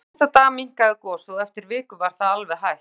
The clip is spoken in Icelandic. Strax næsta dag minnkaði gosið og eftir viku var það alveg hætt.